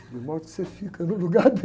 De modo que você fica no lugar dele.